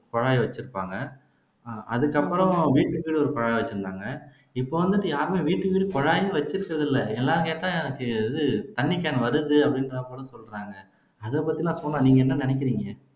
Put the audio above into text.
குழாய் வச்சுருப்பாங்க அதுக்கு அப்புறம் வீட்டுக்குன்னு ஒரு குழாய் வச்சுருந்தாங்க இப்போ வந்துட்டு யாருமே வீட்டுக்கு வீடு குழாய்னு வச்சுருக்கிறது இல்ல எல்லாரும் கேட்டா எனக்கு தண்ணி cane வருது சொல்றாங்க அதைப்பத்தி சோனா நீங்க என்ன நினைக்கிறீங்க